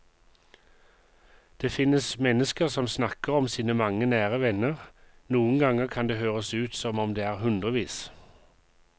Det finnes mennesker som snakker om sine mange nære venner, noen ganger kan det høres ut som om det er hundrevis.